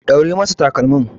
Ɗaure masa takalmin.